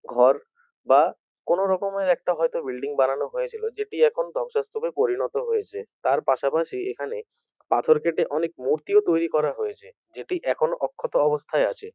ঘর বা কোনো রকমের একটা হয়তো বিল্ডিং বানানো হয়েছিলো যেটি এখন ধংসস্তূপে পরিণত হয়েছে তার পাশাপাশি এখানে পাথর কেটে অনেক মূর্তিও তৈরি করা হয়েছে যেটি এখনো অক্ষত অবস্থায় আছে।